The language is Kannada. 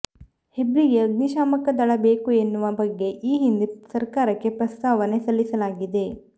ಹೆಬ್ರಿಗೆ ಅಗ್ನಿಶಾಮಕ ದಳ ಬೇಕು ಎನ್ನುವ ಬಗ್ಗೆ ಈ ಹಿಂದೆ ಸರಕಾರಕ್ಕೆ ಪ್ರಸ್ತಾವನೆ ಸಲ್ಲಿಸಲಾಗಿದೆ